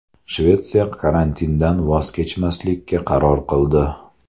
Shvetsiya karantindan voz kechmaslikka qaror qildi.